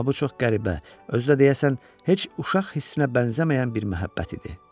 Amma bu çox qəribə, özü də, deyəsən, heç uşaq hissinə bənzəməyən bir məhəbbət idi.